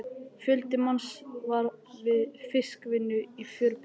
Fjöldi manns var við fiskvinnu í fjöruborðinu.